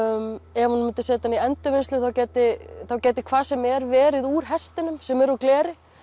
ef hún myndi setja hann í endurvinnslu þá gæti þá gæti hvað sem er verið úr hestinum sem er úr gleri